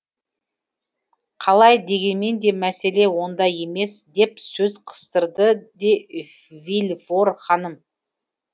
қалай дегенмен де мәселе онда емес деп сөз қыстырды де вильфор ханым